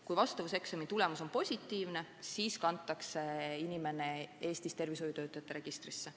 Kui vastavuseksami tulemus on positiivne, siis kantakse inimene tervishoiutöötajate registrisse.